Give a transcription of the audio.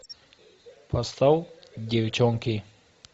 поставь девчонки